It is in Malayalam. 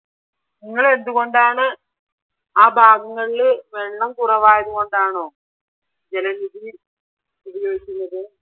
നിങ്ങൾ എന്തുകൊണ്ടാണ് ആ ഭാഗങ്ങളില് വെള്ളം കുറവായത് കൊണ്ടാണോ ജലനിധി ഉപയോഗിക്കുന്നത്?